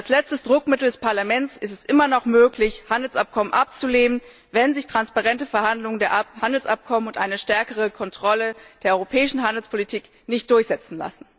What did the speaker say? Als letztes Druckmittel des Parlaments ist es immer noch möglich, Handelsabkommen abzulehnen, wenn sich transparente Verhandlungen über die Abkommen und eine stärkere Kontrolle der europäischen Handelspolitik nicht durchsetzen lassen.